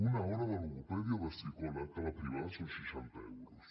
una hora de logopèdia o de psicòleg a la privada són seixanta euros